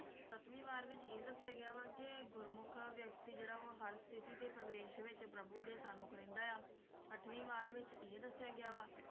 ਸੱਤਵੀਂ ਵਾਰ ਵਿਚ ਇਹ ਦੱਸਿਆ ਗਿਆ ਵਾ ਕਿ ਗੁਰਮੁਖ ਵਿਅਕਤੀ ਜਿਹੜਾ ਆ ਉਹ ਹਰ ਸਥਿਤੀ ਤੇ ਪ੍ਰਵੇਸ਼ ਵਿਚ ਪ੍ਰਭੂ ਦੇ ਸਨਮੁਖ ਰਹਿੰਦਾ ਆ ਅੱਠਵੀਂ ਵਾਰ ਵਿਚ ਇਹ ਦੱਸਿਆ ਗਿਆ ਵਾ